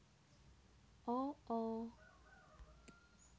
o o